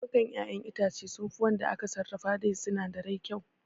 Lemukan ƴaƴen itace sunfi waɗanda aka sarrafa da sinadirai kyau